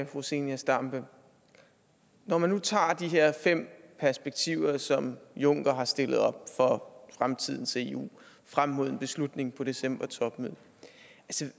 fru zenia stampe når man nu tager de her fem perspektiver som juncker har stillet op for fremtidens eu frem mod en beslutning på decembertopmødet